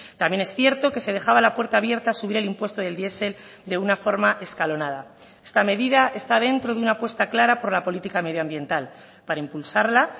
también es cierto que se dejaba la puerta abierta a subir el impuesto del diesel de una forma escalonada esta medida está dentro de una apuesta clara por la política medioambiental para impulsarla